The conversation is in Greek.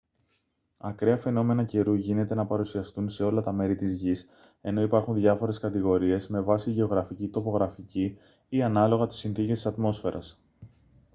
ακραία φαινόμενα καιρού γίνεται να παρουσιαστούν σε όλα τα μέρη της γης ενώ υπάρχουν διάφορες κατηγορίες με βάση γεωγραφική τοπογραφική ή ανάλογα τις συνθήκες της ατμόσφαιρας